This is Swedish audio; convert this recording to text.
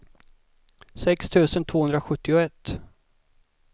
sex tusen tvåhundrasjuttioett